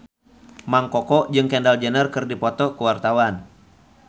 Mang Koko jeung Kendall Jenner keur dipoto ku wartawan